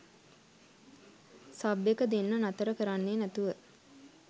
sub එක දෙන්න නතර කරන්නේ නැතුව